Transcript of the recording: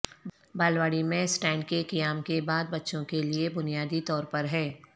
بالواڑی میں سٹینڈ کے قیام کے بعد بچوں کے لئے بنیادی طور پر ہے